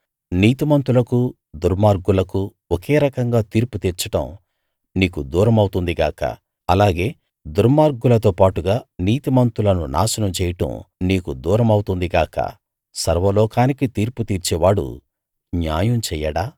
నీతిమంతులకూ దుర్మార్గులకూ ఒకే రకంగా తీర్పు తీర్చడం నీకు దూరమౌతుంది గాక అలాగే దుర్మార్గులతో పాటుగా నీతిమంతులను నాశనం చేయడం నీకు దూరమౌతుంది గాక సర్వలోకానికీ తీర్పు తీర్చేవాడు న్యాయం చెయ్యడా